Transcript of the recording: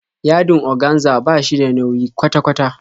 Yadin oganza ba shi da nauyi kwata kwata